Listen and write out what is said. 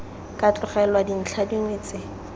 ka tlogelwa dintlha dingwe tse